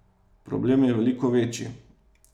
Problem je veliko večji.